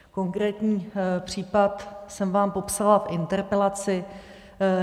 Konkrétní případ jsem vám popsala v interpelaci.